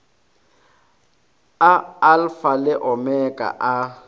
a alfa le omega a